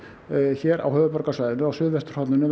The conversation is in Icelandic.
hér á höfuðborgarsvæðinu á suðvesturhorninu